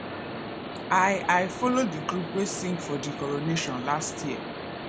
i i folo di group wey sing for di coronation last year